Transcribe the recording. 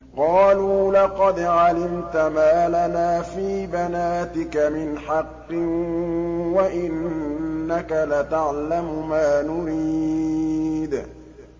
قَالُوا لَقَدْ عَلِمْتَ مَا لَنَا فِي بَنَاتِكَ مِنْ حَقٍّ وَإِنَّكَ لَتَعْلَمُ مَا نُرِيدُ